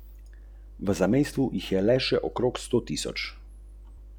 Zazrla se je Templu v oči.